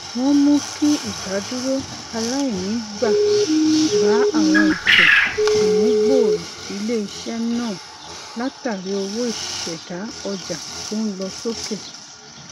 wọn mu ki idaduro alainigba ba awọn ètò ìmúgbòrò iléiṣẹ náà látàrí owó ìṣẹdá ọjà tó n lọ sókè